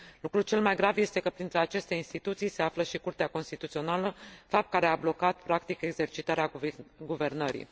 Lucrul cel mai grav este că printre aceste instituții se află și Curtea Constituțională, fapt care a blocat, practic, exercitarea guvernării.